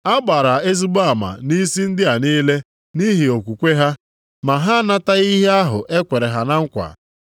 A gbaara ezigbo ama nʼisi ndị a niile nʼihi okwukwe ha, ma ha anataghị ihe ahụ e kwere ha na nkwa.